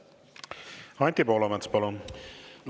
Anti Poolamets, palun!